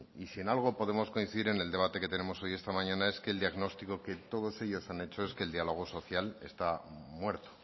y si en algo podemos coincidir en el debate que tenemos hoy esta mañana es que el diagnóstico que todos ellos han hecho es que el diálogo social está muerto